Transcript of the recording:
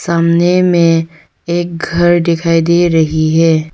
सामने में एक घर दिखाई दे रही है।